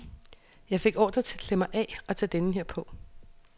Jeg fik ordre til at klæde mig af og tage denne på.